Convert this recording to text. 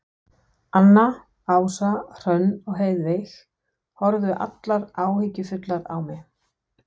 Anna, Ása, Hrönn og Heiðveig horfðu allar áhyggjufullar á mig.